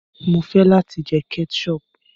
Mo fẹ lati jẹ ketchup